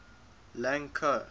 lang ko